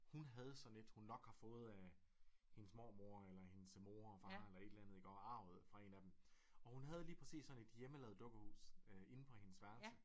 Hun havde sådan et hun nok har fået af hendes mormor eller hendes mor og far eller et eller andet iggå arvet fra en af dem og hun havde lige præcis sådan et hjemmelavet dukkehus inde på hendes værelse